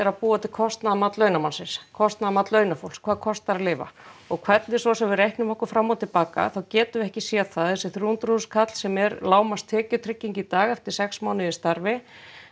að búa til kostnaðarmat launamannsins kostnaðarmat launafólks hvað kostar að lifa og hvernig svo sem við reiknum okkur fram og til baka þá getum við ekki séð það að þessi þrjú hundruð þúsund kall sem er lágmarkstekjutrygging í dag eftir sex mánuði í starfi